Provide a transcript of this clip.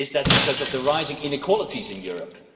Is it because of the rising inequalities in Europe?